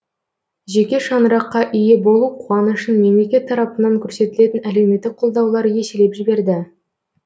жеке шаңыраққа ие болу қуанышын мемлекет тарапынан көрсетілетін әлеуметтік қолдаулар еселеп жіберді